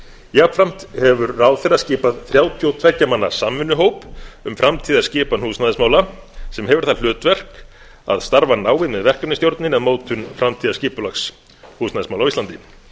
jafnframt hefur ráðherra skipað þrjátíu og tveggja manna samvinnuhóp um framtíðarskipan húsnæðismála sem hefur það hlutverk að starfa náið með verkefnisstjórninni að mótun framtíðarskipulags húsnæðismála á íslandi